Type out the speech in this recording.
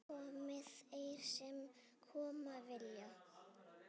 Komi þeir sem koma vilja.